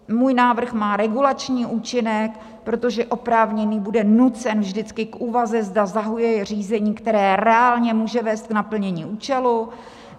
Můj návrh má regulační účinek, protože oprávněný bude nucen vždycky k úvaze, zda zahajuje řízení, které reálně může vést k naplnění účelu.